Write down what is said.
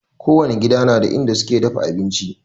Kowani gida na da inda suke dafa abinci